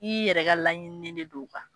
I yɛrɛ ka laɲinini de don